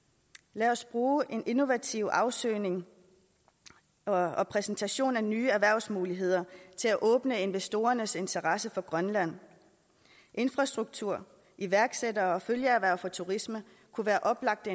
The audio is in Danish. lad os bruge en innovativ afsøgning og og præsentation af nye erhvervsmuligheder til at åbne investorernes interesse for grønland infrastruktur iværksættere og følgeerhverv for turisme kunne være oplagte